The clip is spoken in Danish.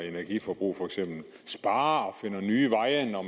energiforbrug for eksempel sparer og finder nye veje når